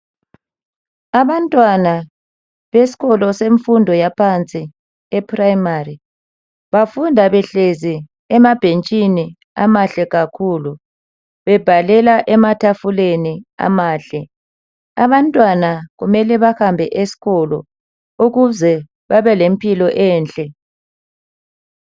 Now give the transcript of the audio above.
Abantwana besikolo semfundo yaphansi ephrayimari bafunda behlezi emabhentshini amahle kakhulu bebhalela ematafuleni amahle abantwana kumele behambe esikolo ukuze babe lempilo enhle.